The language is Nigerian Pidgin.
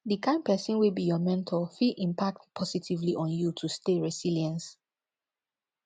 di kind pesin wey be your mentor fit impact positively on you to stay resilience